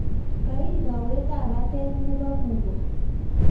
kail kawetab batet nebo kugo